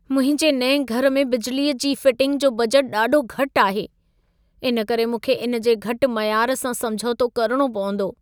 मुंहिंजे नएं घर में बिजलीअ जी फिटिंग जो बजट ॾाढो घटि आहे, इन करे मूंखे इन जे घटि मयार सां समझोतो करणो पवंदो।